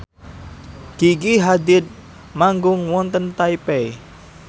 Gigi Hadid manggung wonten Taipei